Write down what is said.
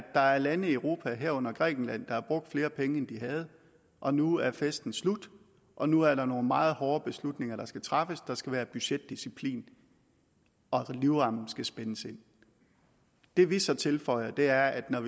der er lande i europa herunder grækenland der har brugt flere penge end de havde og nu er festen slut og nu er der nogle meget hårde beslutninger der skal træffes der skal være budgetdisciplin og livremmen skal spændes ind det vi så tilføjer er at når